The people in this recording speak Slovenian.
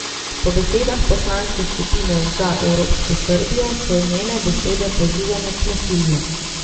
Po besedah poslanske skupine Za evropsko Srbijo so njene besede pozivanje k nasilju.